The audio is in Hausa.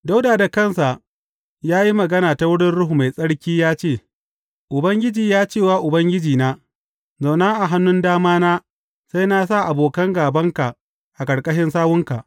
Dawuda da kansa ya yi magana ta wurin Ruhu Mai Tsarki ya ce, Ubangiji ya ce wa Ubangijina, Zauna a hannun damana sai na sa abokan gābanka a ƙarƙashin sawunka.